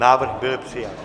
Návrh byl přijat.